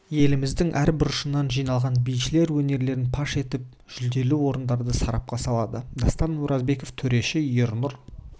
еліміздің әр бұрышынан жиналған бишілер өнерлерін паш етіп жүлделі орындарды сарапқа салады дастан оразбеков төреші ернұр